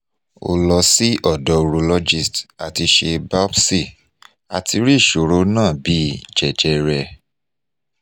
o lo si odo urologist ati se biopsy ati ri isoro na bi jejere